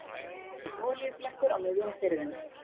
Olíuflekkur á miðjum firðinum